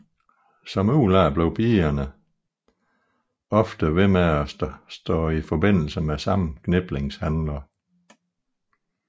Som udlærte blev pigerne ofte ved med at stå i forbindelse med samme kniplingshandler